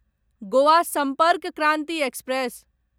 Goa Sampark Kranti express